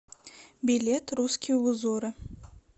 билет русские узоры